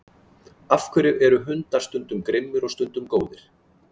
Af hverju eru hundar stundum grimmir og stundum góðir?